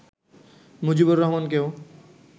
Mujibur রহমানকেও